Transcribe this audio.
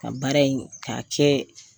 Ka baara in k'a kɛ